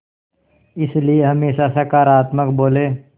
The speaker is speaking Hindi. इसलिए हमेशा सकारात्मक बोलें